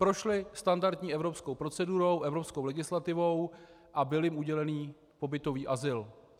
Prošly standardní evropskou procedurou, evropskou legislativou a byl jim udělen pobytový azyl.